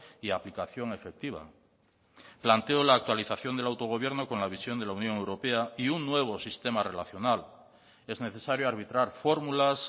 y aplicación efectiva planteo la actualización del autogobierno con la visión de la unión europea y un nuevo sistema relacional es necesario arbitrar formulas